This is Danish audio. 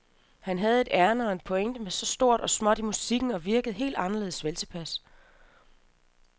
Han havde et ærinde og en pointe med stort og småt i musikken og virkede helt anderledes veltilpas.